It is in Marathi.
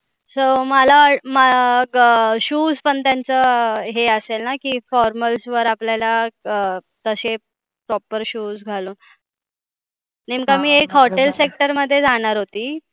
so मला म ग shoes हे असेल ना की formals वर आपल्याला अं तशे proper shoes घालून एकदा मी एक hotel sector मध्ये राहणार होती.